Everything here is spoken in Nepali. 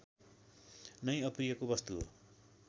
नै अप्रियको वस्तु हो